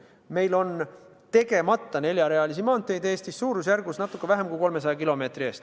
Meil on Eestis tegemata neljarealisi maanteid natuke vähem kui 300 kilomeetri ulatuses.